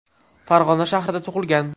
Farg‘ona shahrida tug‘ilgan.